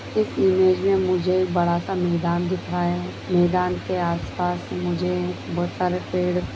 इस इमेज में मुझे एक बड़ा-सा मैदान दिख रहा हैं। मैदान के आस-पास मुझे बोहोत सारे पेड़ --